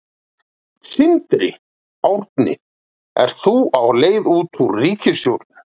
Sindri: Árni ert þú á leið út úr ríkisstjórninni?